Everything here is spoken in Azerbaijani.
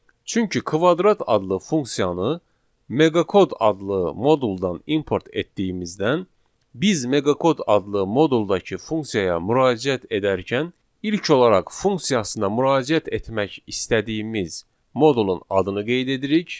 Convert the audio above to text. Çünki kvadrat adlı funksiyanı meqakod adlı moduldan import etdiyimizdən biz meqakod adlı moduldakı funksiyaya müraciət edərkən ilk olaraq funksiyasına müraciət etmək istədiyimiz modulun adını qeyd edirik.